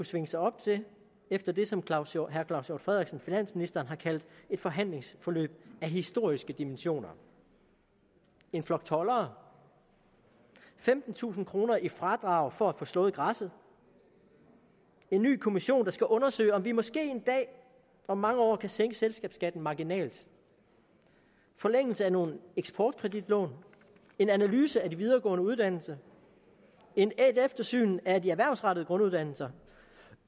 svinge sig op til efter det som finansministeren har kaldt et forhandlingsforløb af historiske dimensioner en flok toldere femtentusind kroner i fradrag for at få slået græsset en ny kommission der skal undersøge om vi måske en dag om mange år kan sænke selskabsskatten marginalt en forlængelse af nogle eksportkreditlån en analyse af de videregående uddannelser et eftersyn af de erhvervsrettede grunduddannelser